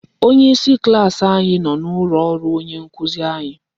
Onyeisi klaasị anyị nọ n'ụlọ ọrụ onye nkuzi anyị.